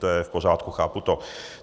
To je v pořádku, chápu to.